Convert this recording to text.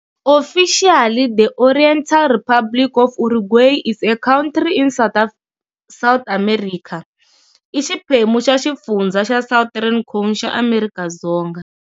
Officially the Oriental Republic of Uruguay, is a country in South America. I xiphemu xa xifundzha xa Southern Cone xa Amerika Dzonga.